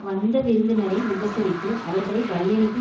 வந்த விருந்தினரை உபசரித்து அவர்களை வழியனுப்பி